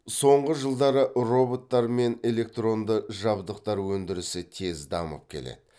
соңғы жылдары роботтар мен электронды жабдықтар өндірісі тез дамып келеді